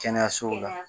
Kɛnɛyasow la